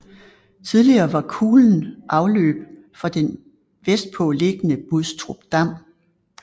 Tidligere var kulen afløb for den vestpå liggende Bustrupdam